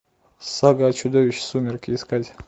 сага о чудовище сумерки искать